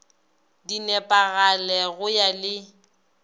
di nepagale go ya le